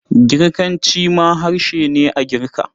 Girkanci ma harshe ne a Girka.